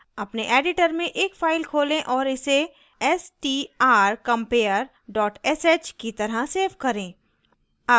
अपने editor में एक file खोलें और इसे strcompare dot sh की तरह सेव करें